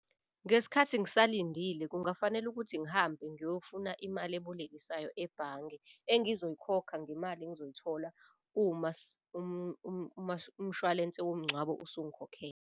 Ngesikhathi ngisalindile kungafanele ukuthi ngihambe ngiyofuna imali ebolekisayo ebhange. Engizoyikhokha ngemali engizoyithola uma umshwalense womngcwabo usungikhokhele.